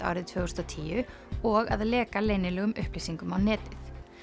árið tvö þúsund og tíu og að leka leynilegum upplýsingum á netið